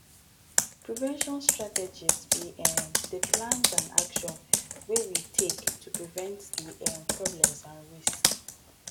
prevention strategies be um di plans and actions wey we take to prevent di um problems and risks